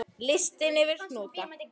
Listi yfir hnúta